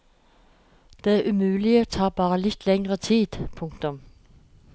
Det umulige tar bare litt lengre tid. punktum